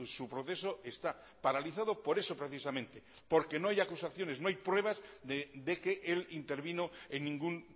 su proceso está paralizado por eso precisamente porque no hay acusaciones no hay pruebas de que él intervino en ningún